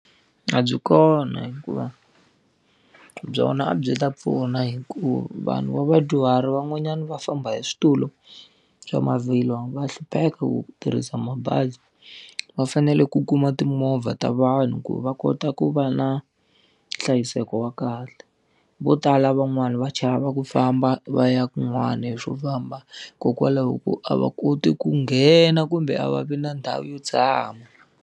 A byi kona hikuva, byona a byi ta pfuna hikuva vanhu va vadyuhari van'wanyani va famba hi switulu, swa mavhilwa va hlupheka ku tirhisa mabazi. Va fanele ku kuma timovha ta vanhu ku va kota ku va na nhlayiseko wa kahle. Vo tala van'wana va chava ku famba va ya kun'wana hi swo famba hikokwalaho ko a va koti ku nghena kumbe a va vi na ndhawu yo tshama.